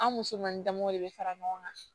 An musomannin damaw de bɛ fara ɲɔgɔn kan